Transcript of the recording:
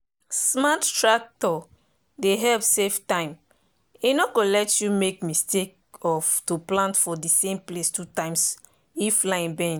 smart tractor dey help save time e no go let you make mistake of to plant for same place two times if line bend.